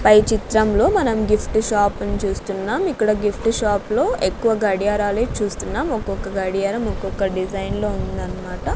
పై చిత్రంలో మనం gift shop ని చూస్తున్నాం ఇక్కడ గిఫ్ట్ షాప్ లో ఎక్కువ గడియారాలే చూస్తున్నాం ఒక్కొక్క గడియారం ఒక్కొక్క డిజైన్ లో ఉందన్నమాట.